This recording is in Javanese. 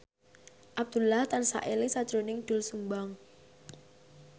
Abdullah tansah eling sakjroning Doel Sumbang